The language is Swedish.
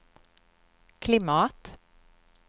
klimat